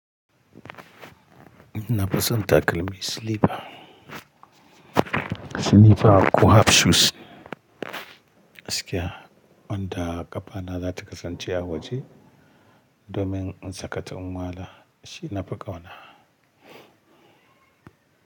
Na fison takalmi slipper. Slipper ko half shoes gaskiya, wanda ƙafana za ta kasance a waje domin in sakata in wala shi na fi kauna.